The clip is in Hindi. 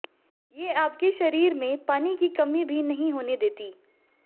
ये आपके शरीर में पानी की कमी भी नहीं होने देतीं